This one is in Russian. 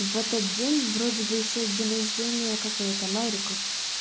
в этот день вроде бы ещё день рождения как его там эрика